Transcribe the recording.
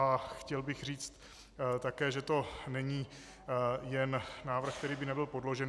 A chtěl bych říct také, že to není jen návrh, který by nebyl podložen.